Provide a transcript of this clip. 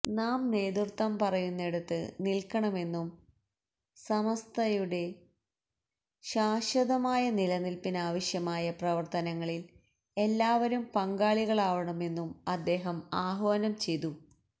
നാം നേതൃത്വം പറയുന്നിടത്ത് നില്ക്കണമെന്നും സമസ്തയുടെ ശാശ്വതമായ നിലനില്പ്പിനാവശ്യമായ പ്രവര്ത്തനങ്ങളില് എല്ലാവരും പങ്കാളികളാകണമെന്നും അദ്ദേഹം ആഹ്വാനം ചെയ്തു